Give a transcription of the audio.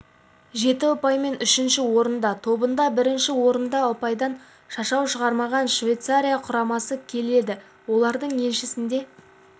жеті ұпаймен үшінші орында тобында бірінші орында ұпайдан шашау шығармаған швейцария құрамасы келеді олардың еншісінде